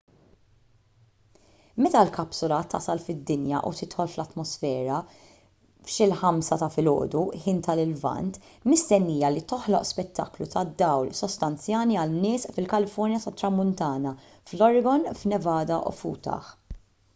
meta l-kapsula tasal fid-dinja u tidħol fl-atmosfera f'xi l-5 ta' filgħodu ħin tal-lvant mistennija li toħloq spettaklu tad-dawl sostanzjali għan-nies fil-kalifornja tat-tramuntana fl-oregon fin-nevada u f'utah